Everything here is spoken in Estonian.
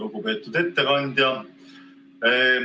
Lugupeetud ettekandja!